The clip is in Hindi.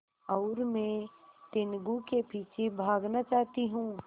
और मैं टीनगु के पीछे भागना चाहती हूँ